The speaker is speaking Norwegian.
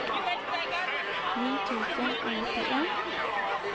ni tusen og nittien